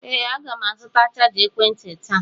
Ee, aga m azụta chaja ekwentị taa.